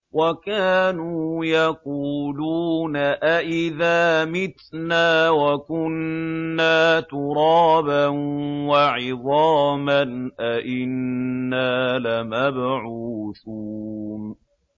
وَكَانُوا يَقُولُونَ أَئِذَا مِتْنَا وَكُنَّا تُرَابًا وَعِظَامًا أَإِنَّا لَمَبْعُوثُونَ